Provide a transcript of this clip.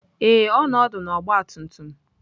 Ee, ọ nọ ọdụ na ọgbatumtum.